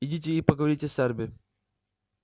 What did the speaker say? идите и поговорите с эрби